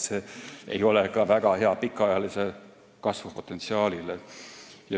See ei ole kuigi hea ka pikaajalise kasvu potentsiaalile.